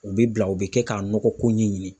U bɛ bila , u bɛ kɛ ka nɔgɔ ko ɲɛɲini.